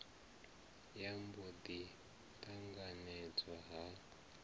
ya mbo ḓi ṱanganedzwa ha